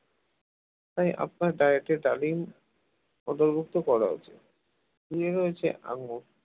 তাই আপনার diet র daily অন্তর্ভুক্ত করা উচিত এ হয়েছে আঙুর